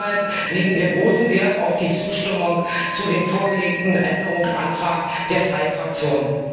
Deshalb legen wir großen Wert auf die Zustimmung zu dem vorgelegten Änderungsantrag der drei Fraktionen.